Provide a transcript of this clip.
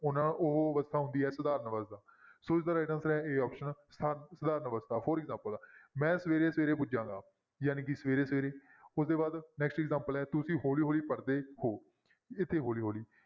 ਹੁਣ ਉਹ ਅਵਸਥਾ ਹੁੰਦੀ ਹੈ ਸਧਾਰਨ ਅਵਸਥਾ ਸੋ ਇਸਦਾ right answer ਹੈ a option ਸਧਾ~ ਸਧਾਰਨ ਅਵਸਥਾ for example ਮੈਂ ਸਵੇਰੇ ਸਵੇਰੇ ਪੁੱਜਾਂਗਾ, ਜਾਣੀ ਕਿ ਸਵੇਰੇ ਸਵੇਰੇ ਉਹ ਤੋਂ ਬਾਅਦ next examples ਹੈ ਤੁਸੀਂ ਹੌਲੀ ਹੌਲੀ ਪੜ੍ਹਦੇ ਹੋ, ਇੱਥੇ ਹੌਲੀ ਹੌਲੀ